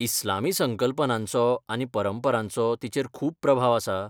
इस्लामी संकल्पनांचो आनी परंपरांचो तिचेर खूब प्रभाव आसा?